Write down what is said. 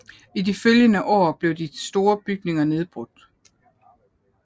I de følgende år blev de store bygninger nedbrud